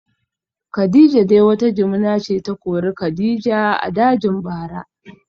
Kadijah dai wata jimina ce ta kori kadija a dajin bara